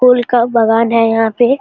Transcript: फूल का बागान है यहां पे।